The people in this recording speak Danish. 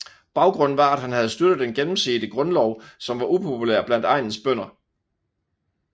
Baggrunden var at han havde støttet den gennemsete grundlov som var upopulær blandt egnens bønder